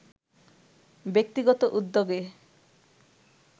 ব্যক্তিগত উদ্যোগে